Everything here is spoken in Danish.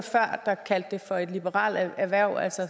der kaldte det for et liberalt erhverv altså